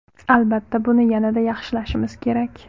Albatta, buni yanada yaxshilashimiz kerak.